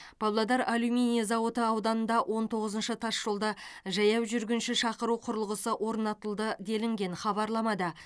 павлодар алюминий зауыты ауданында он тоғызыншы тасжолда жаяу жүргінші шақыру құрылғысы орнатылды делінген хабарламада